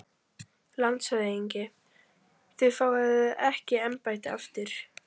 LANDSHÖFÐINGI: Þér fáið ekki embættið aftur